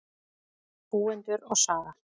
Búendur og saga.